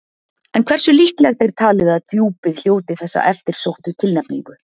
En hversu líklegt er talið að Djúpið hljóti þessa eftirsóttu tilnefningu?